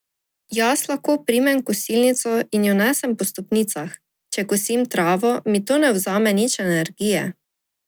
Jaz lahko primem kosilnico in jo nesem po stopnicah, če kosim travo, mi to ne vzame nič energije.